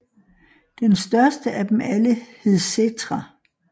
Den største af dem alle hed Settra